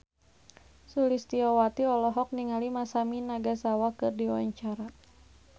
Sulistyowati olohok ningali Masami Nagasawa keur diwawancara